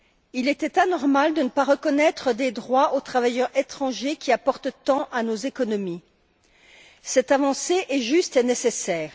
Il était anormal de ne pas reconnaître des droits aux travailleurs étrangers qui apportent tant à nos économies. Cette avancée est juste et nécessaire.